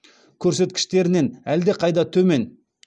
көрсеткіштерінен әлдеқайда төмен